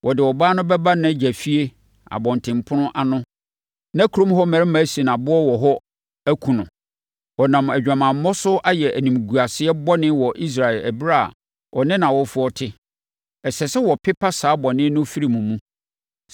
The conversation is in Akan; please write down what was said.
wɔde ɔbaa no bɛba nʼagya fie abɔntenpono ano na kurom hɔ mmarima asi no aboɔ wɔ hɔ akum no. Ɔnam adwamammɔ so ayɛ animguaseɛ bɔne wɔ Israel ɛberɛ a ɔne nʼawofoɔ te. Ɛsɛ sɛ wɔpepa saa bɔne no firi mo mu.